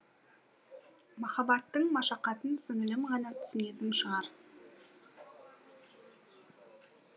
махаббаттың машақатын сіңілім ғана түсінетін шығар